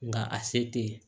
Nga a se tɛ yen